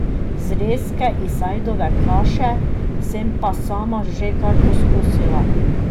Zrezke iz ajdove kaše sem pa sama že kar poskusila.